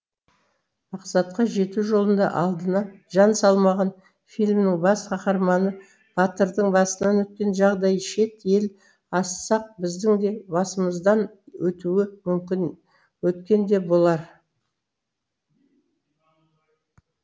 мақсатқа жету жолында алдына жан салмаған фильмнің бас қаһарманы батырдың басынан өткен жағдай шет ел ассақ біздің де басымыздан өтуі мүмкін өткен де болар